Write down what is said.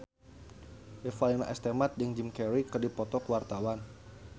Revalina S. Temat jeung Jim Carey keur dipoto ku wartawan